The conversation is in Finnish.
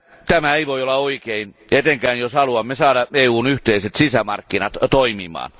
Tämä ei voi olla oikein, etenkään jos haluamme saada EUn yhteiset sisämarkkinat toimimaan.